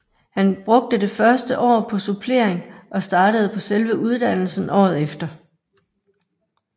Han brugte det første år på supplering og startede på selve uddannelsen året efter